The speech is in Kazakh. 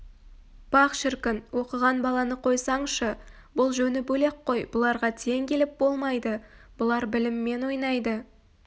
пах шіркін оқыған баланы қойсаңшы бұл жөні бөлек қой бұларға тең келіп болмайды бұлар біліммен ойнайды